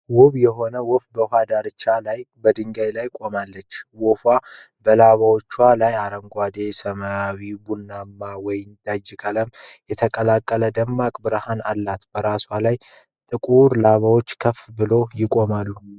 ውብ የሆነ ወፍ በውኃ ዳርቻ ላይ በድንጋይ ላይ ቆማለች። ወፏ በላባዎቿ ላይ አረንጓዴ፣ ሰማያዊ፣ ቡናማና ወይንጠጅ ቀለም የተቀላቀለ ደማቅ ብርሃን አላት። በራሷ ላይ ጥቁር ላባዎች ከፍ ብለው ይቆማሉ።